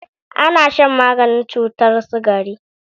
Ana shan maganin cutar sikari.